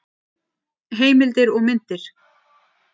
Heimildir og myndir: